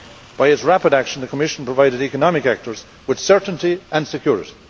By its rapid action, the Commission has provided economic actors with certainty and security.